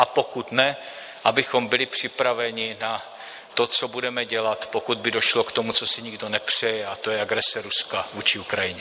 A pokud ne, abychom byli připraveni na to, co budeme dělat, pokud by došlo k tomu, co si nikdo nepřeje, a to je agrese Ruska vůči Ukrajině.